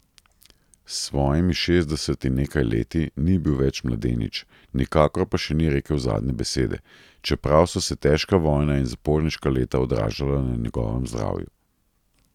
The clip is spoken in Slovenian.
S svojimi šestdeset in nekaj leti ni bil več mladenič, nikakor pa še ni rekel zadnje besede, čeprav so se težka vojna in zaporniška leta odražala na njegovem zdravju.